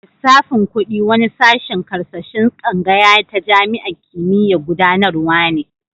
Lissafin kudi wani sashen karkashin tsangaya ta jami'an kimiyya'n gudanarwa ne.